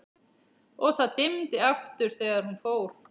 og það dimmdi aftur þegar hún fór.